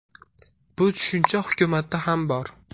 Bu tushuncha hukumatda ham bor.